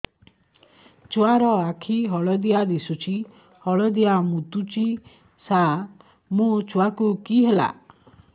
ଛୁଆ ର ଆଖି ହଳଦିଆ ଦିଶୁଛି ହଳଦିଆ ମୁତୁଛି ସାର ମୋ ଛୁଆକୁ କି ହେଲା